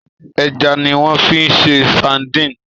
Èjà niwòn fi ṣé sádìn